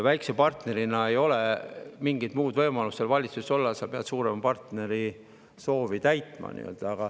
Väikse partnerina ei ole mingit muud võimalust valitsuses olla, sa pead suurema partneri soovi täitma.